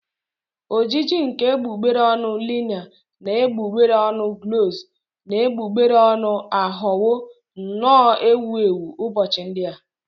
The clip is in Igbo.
Ojiji nke egbugbere ọnụ liner na egbugbere ọnụ gloss na egbugbere ọnụ aghọwo nnọọ ewu ewu ụbọchị ndị a